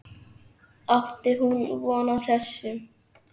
Átti hún von á þessu?